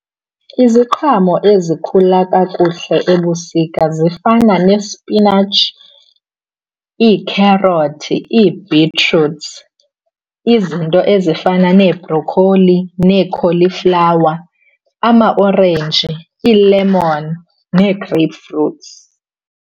Iziqhamo ezikhula kakuhle ebusika zifana nespinatshi, iikherothi, ii-betroots, izinto ezifana nee-brocolli, nee-cauliflower, amaorenji, ii-lemon nee-grapefruits.